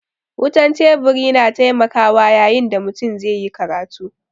Wutan Teburi na taimakawa yayin da mutum zai yi karatu.